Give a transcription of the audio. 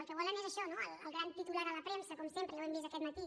el que volen és això no el gran titular a la premsa com sempre ja ho hem vist aquest matí